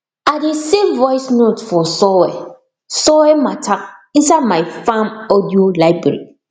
i dey save voice note for soil soil matter inside my farm audio library